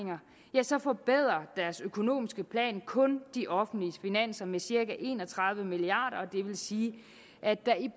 ja så forbedrer deres økonomiske plan kun de offentlige finanser med cirka en og tredive milliard kr det vil sige at der i